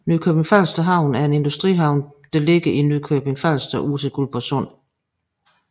Nykøbing Falster Havn er en industrihavn beliggende i Nykøbing Falster ud til Guldborg Sund